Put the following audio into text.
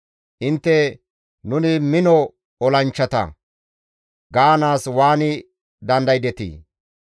«Intte, ‹Nuni mino olanchchata› gaanaas waani dandaydetii?